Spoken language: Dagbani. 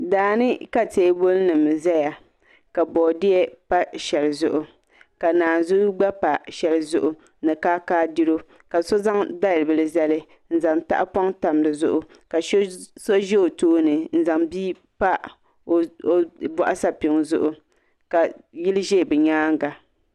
Daani ka teebuli nim ʒɛya ka boodiyɛ pa shɛli zuɣu ka naazuu gba pa shɛli zuɣu ni kaakaadiro ka so zaŋ dalibili zali n zaŋ tahpoŋ tam dizuɣu ka so ʒɛ o tooni n zaŋ bia pa o boɣu sapiŋ zuɣu ka yili ʒɛ bi nyaanga